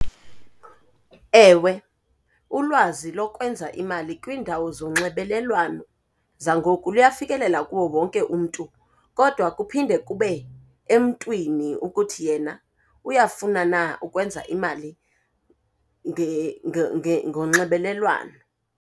Ewe, ulwazi lokwenza imali kwiindawo zonxibelelwano zangoku luyafikelela kuwo wonke umntu, kodwa kuphinde kube emntwini ukuthi yena uyafuna na ukwenza imali ngonxibelelwano.